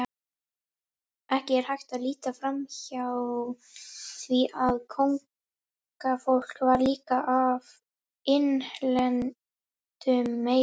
Ekki er hægt að líta framhjá því að kóngafólk var líka af innlendum meiði.